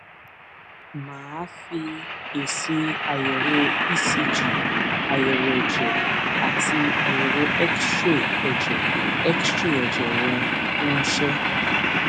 mà á fi èsì àyẹwò ecg àyẹwò ẹjẹ àti àyẹwò xray ẹjẹ xray ẹjẹ rẹ ránṣẹ